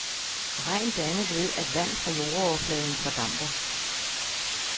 Regn dannes ved at vand fra jordoverfladen fordamper.